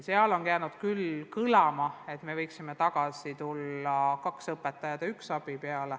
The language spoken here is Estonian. Seni on kõlama jäänud, et võiksime tagasi minna mudelile kaks õpetajat ja üks abi.